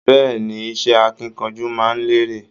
Bẹ́ẹ̀ni, iṣẹ akínkanjú máa n lere.